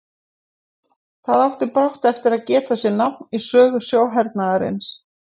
Það átti brátt eftir að geta sér nafn í sögu sjóhernaðarins.